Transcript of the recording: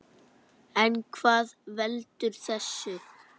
En hvað veldur þessu?